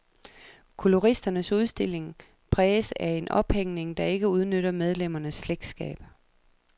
Koloristernes udstilling præges af en ophængning, der ikke udnytter medlemmernes slægtskab.